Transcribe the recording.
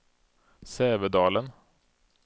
Sävedalen